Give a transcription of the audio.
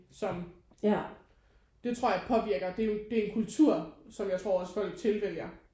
Som det tror jeg påvirker det er jo det er en kultur som jeg tror også folk tilvælger